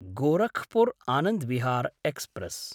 Gorakhpur Anand Vihar express